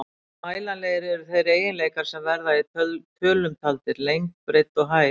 Og mælanlegir eru þeir eiginleikar sem verða í tölum taldir, lengd, breidd og hæð.